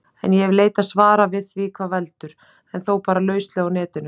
En ég hef leitað svara við því hvað veldur, en þó bara lauslega á Netinu.